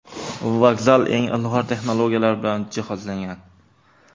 Vokzal eng ilg‘or texnologiyalar bilan jihozlangan.